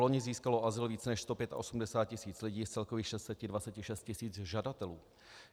Loni získalo azyl více než 185 tisíc lidí z celkových 626 tisíc žadatelů.